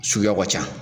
Suguyaw ka ca